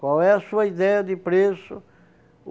Qual é a sua ideia de preço?